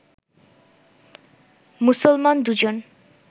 মুসলমান দুজন